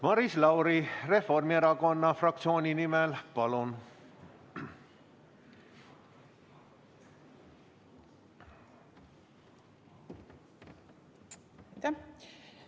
Maris Lauri Reformierakonna fraktsiooni nimel, palun!